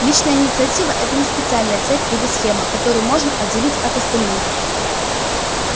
личная инициатива это не специальная цепь или схема которую можно отделить от остальных